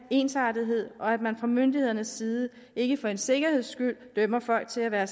ensartethed og at man fra myndighedernes side ikke for en sikkerheds skyld dømmer folk til at være